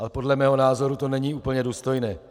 Ale podle mého názoru to není úplně důstojné.